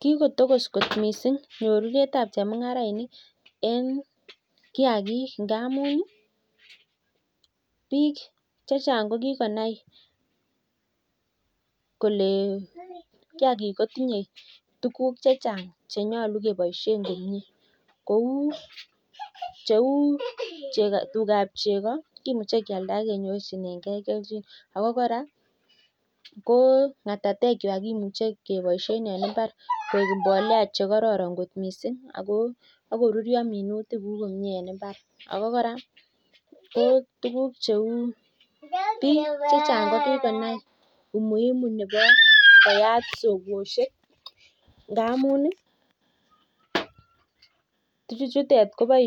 Kikotokos kot missing mungaret ab kiagik amuu kikonai kolee kiagik kotinye tuguk chechang chekibaishe kouu tuga ab chekoo ako koraa katatek kwak kebaishe eng